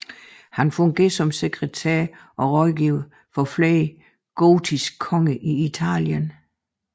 Han fungerede som sekretær og rådgiver for flere gotiske konger i Italien